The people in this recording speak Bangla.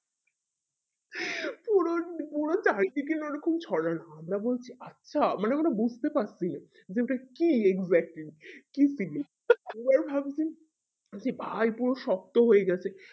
পুরো পুরো ওই রকম ছড়ানো আমরা বলছি আচ্ছা মানে আমরা বুজতে পারছি না যে ওটা কি exactly কি ছিল ওরাই ভাবছে ভাই পুরো শক্ত হয়ে গেছে